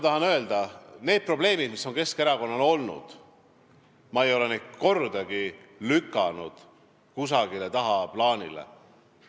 Neid probleeme, mis on Keskerakonnal olnud, ei ole ma kordagi lükanud kusagile tagaplaanile.